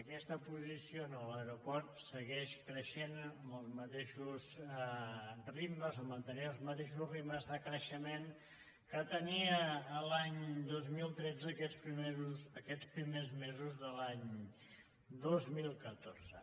aquesta posició a l’aeroport segueix creixent amb els mateixos ritmes o mantenint els mateixos ritmes de creixement que tenia l’any dos mil tretze aquests primers mesos de l’any dos mil catorze